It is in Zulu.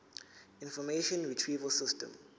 information retrieval system